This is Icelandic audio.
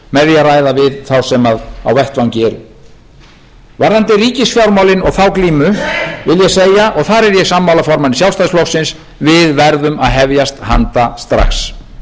ræða við þá sem á vettvangi eru varðandi ríkisfjármálin og þá glímu vil ég segja og þar er ég sammála formanni sjálfstæðisflokksins við verðum að hefjast handa strax